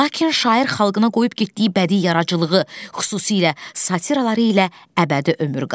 Lakin şair xalqına qoyub getdiyi bədii yaradıcılığı, xüsusilə satıraları ilə əbədi ömür qazandı.